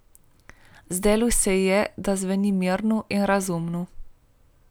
Zdelo se ji je, da zveni mirno in razumno.